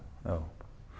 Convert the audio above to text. já